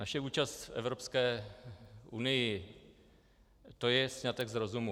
Naše účast v Evropské unii, to je sňatek z rozumu.